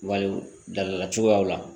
Wali dabila cogoyaw la